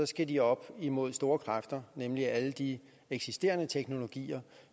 skal de op imod store kræfter nemlig alle de eksisterende teknologier